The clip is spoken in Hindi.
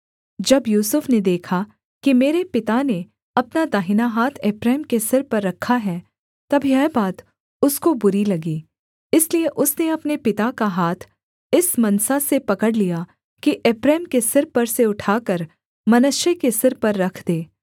जब यूसुफ ने देखा कि मेरे पिता ने अपना दाहिना हाथ एप्रैम के सिर पर रखा है तब यह बात उसको बुरी लगी इसलिए उसने अपने पिता का हाथ इस मनसा से पकड़ लिया कि एप्रैम के सिर पर से उठाकर मनश्शे के सिर पर रख दे